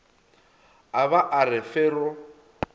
a ba a re fero